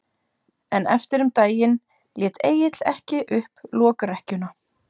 En eftir um daginn lét Egill ekki upp lokrekkjuna.